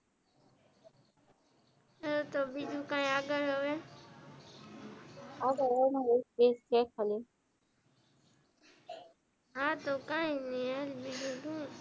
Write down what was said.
હા તો બીજું કઈ આગળ હવે આગળ હવે હા તો કઈ ની બીજું હું,